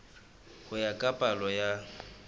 ho ya ka palo ya